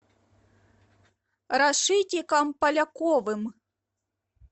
рашитиком поляковым